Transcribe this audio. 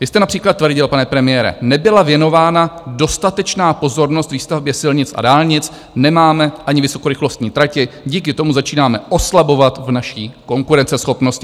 Vy jste například tvrdil, pane premiére: nebyla věnována dostatečná pozornost výstavbě silnic a dálnic, nemáme ani vysokorychlostní tratě, díky tomu začínáme oslabovat v naší konkurenceschopnosti.